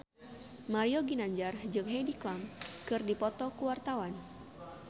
Mario Ginanjar jeung Heidi Klum keur dipoto ku wartawan